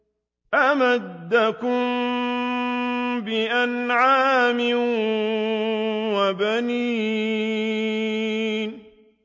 أَمَدَّكُم بِأَنْعَامٍ وَبَنِينَ